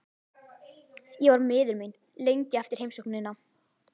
Ég var miður mín lengi eftir heimsóknina.